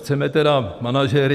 Chceme tedy manažery?